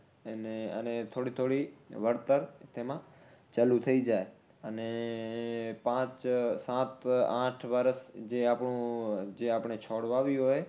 એને અને થોડી થોડી વળતર તેમાં ચાલુ થઈ જાય. અને પાંચ સાત આઠ વર્ષ જે આપણું, જે આપણે છોડ વાવ્યું હોય